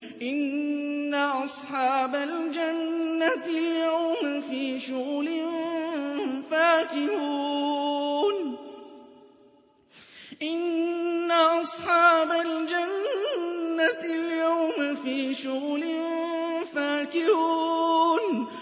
إِنَّ أَصْحَابَ الْجَنَّةِ الْيَوْمَ فِي شُغُلٍ فَاكِهُونَ